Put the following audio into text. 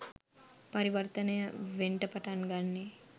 පරිවර්තනය වෙන්ට පටන් ගන්නෙ.